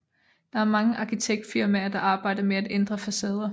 Der er mange arkitektfirmaer der arbejder med at ændre facader